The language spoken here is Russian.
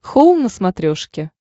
хоум на смотрешке